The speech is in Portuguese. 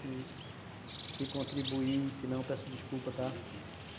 Se se contribui, se não, peço desculpa, tá,